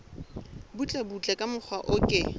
butlebutle ka mokgwa o ke